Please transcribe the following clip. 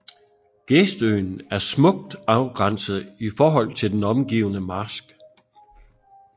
Geestøen er smukt afgrænset i forhold til den omgivende marsk